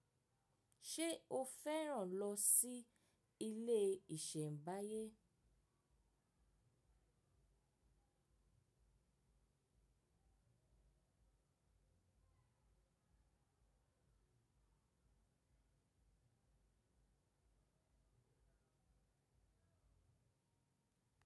Ṣé o fẹ́ràn lọ sí ilé ìṣẹ̀mbáyé?